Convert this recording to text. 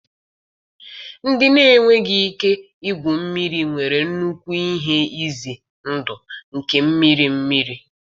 Ndị na-enweghị ike igwu mmiri nwere nnukwu ihe ize ndụ nke mmiri mmiri.